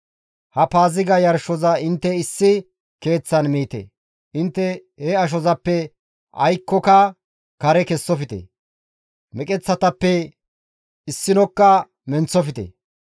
«Ha Paaziga yarshoza intte issi keeththan miite; intte he ashozappe aykkoka kare kessofte. Meqeththatappe issinokka menththofte.